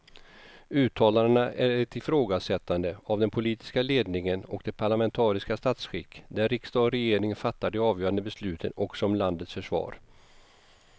Uttalandena är ett ifrågasättande av den politiska ledningen och det parlamentariska statsskick där riksdag och regering fattar de avgörande besluten också om landets försvar.